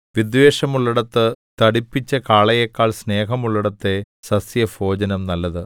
വിദ്വേഷമുള്ളേടത്തെ തടിപ്പിച്ച കാളയെക്കാൾ സ്നേഹമുള്ളേടത്തെ സസ്യഭോജനം നല്ലത്